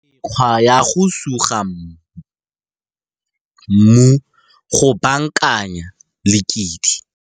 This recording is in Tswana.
Mekgwa ya go suga mmu go baakanya lekidi.